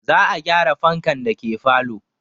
Za a gyara fankan dake falo